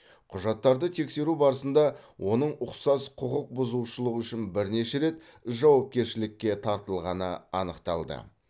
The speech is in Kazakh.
құжаттарды тексеру барысында оның ұқсас құқық бұзушылық үшін бірнеше рет жауапкершілікке тартылғаны анықталды